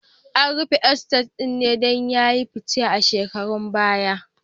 An rufe otal ɗin da ya yi fice a shekarun baya.